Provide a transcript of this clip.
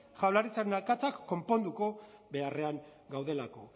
jaurlaritzaren akatsak konponduko beharrean gaudelako